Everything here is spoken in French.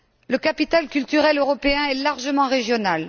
Le capital culturel européen est largement régional